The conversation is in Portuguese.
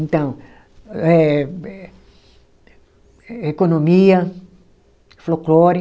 Então, eh eh economia, folclore.